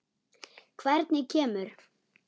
Hvernig kemur